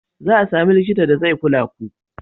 Za a sami likita da zai kula ku.